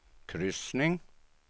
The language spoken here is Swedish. kryssning